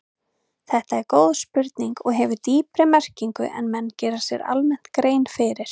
Þetta er góð spurning og hefur dýpri merkingu en menn gera sér almennt grein fyrir.